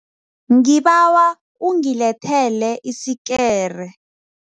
Ngibawa ungilethele isikere.